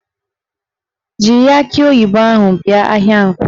Jiri akị oyibo ahụ bịa ahịa Nkwọ!